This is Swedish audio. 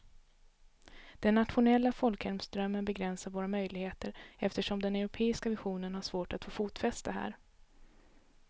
Den nationella folkhemsdrömmen begränsar våra möjligheter eftersom den europeiska visionen har svårt att få fotfäste här.